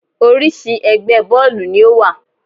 Oríṣi ẹgbẹ́ bọ́ọ̀lù ni ó wà.